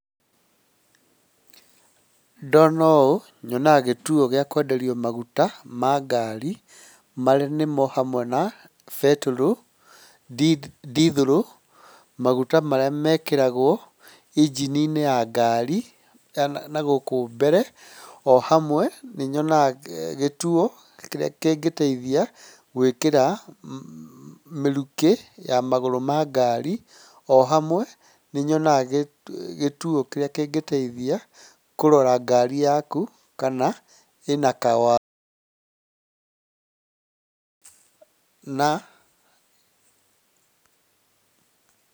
Ndona ũũ, nyonaga gĩtuo gĩa kwenderio maguta ma ngari marĩa nĩmo hamwe na betũrũ, ndithũrũ, magũta marĩ mekĩragwo injini-inĩ ya ngari na gũkũ mbere, o hamwe nĩnyonaga gĩtuo kĩrĩa kĩngĩteithia gwĩkĩra mĩrukĩ ya magũrũ ma ngari, o hamwe nĩ nyonaga gĩtuo kĩrĩa kĩngĩteithia kũrora ngari yaku kana ĩnaka... na...